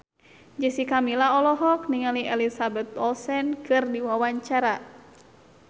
Jessica Milla olohok ningali Elizabeth Olsen keur diwawancara